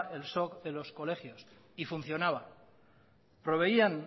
el soj de los colegios y funcionaba proveían